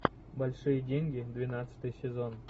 большие деньги двенадцатый сезон